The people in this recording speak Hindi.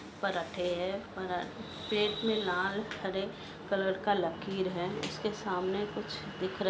पराठे हैं पराठे प्लेट में लाल हरे कलर की लकीर है ऊसके सामने कुछ दिख रहे--